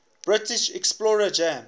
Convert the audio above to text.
british explorer james